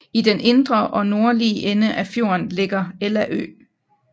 I den indre og nordlige ende af fjorden ligger Ella Ø